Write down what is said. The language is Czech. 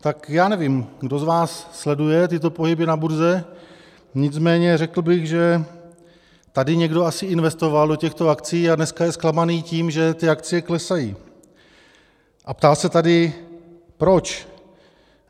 Tak já nevím, kdo z vás sleduje tyto pohyby na burze, nicméně řekl bych, že tady někdo asi investoval do těchto akcií a dneska je zklamaný tím, že ty akcie klesají, a ptá se tady, proč.